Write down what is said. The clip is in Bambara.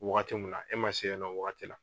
Wagati min na , e ma se yen nɔ wagati la.